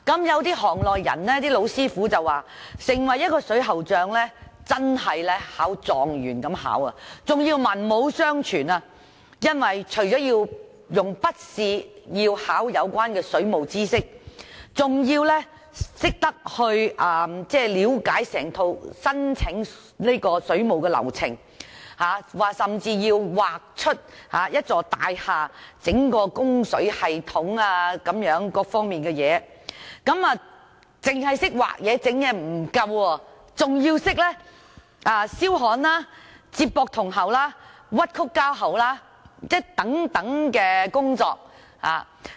有行內老師傅說，要成為一名水喉匠真的好像考狀元般，更要文武雙全，因為除了考水務知識的筆試，還要了解整套申請供水的流程，甚至要畫出一座大廈整個供水系統各方面的圖示，不單要懂得畫圖、安裝等，還要懂得燒焊、接駁銅喉、屈曲膠喉等工作。